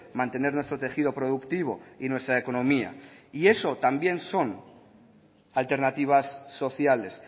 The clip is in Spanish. mantener nuestro tejido productivo y nuestra economía y eso también son alternativas sociales